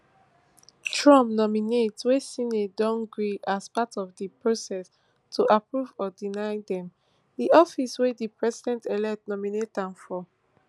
trump nominate wey senate don grill as part of di process to approve or deny dem di office wey di presidentelect nominate dem for